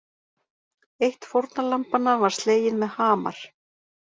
Eitt fórnarlambanna var slegið með hamar